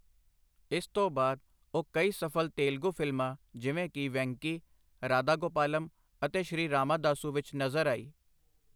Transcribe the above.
ਇਸ ਤੋਂ ਬਾਅਦ, ਉਹ ਕਈ ਸਫ਼ਲ ਤੇਲਗੂ ਫਿਲਮਾਂ ਜਿਵੇਂ ਕਿ- ਵੈਂਕੀ, ਰਾਧਾ ਗੋਪਾਲਮ' ਅਤੇ ਸ਼੍ਰੀ ਰਾਮਾਦਾਸੂ' ਵਿੱਚ ਨਜ਼ਰ ਆਈ।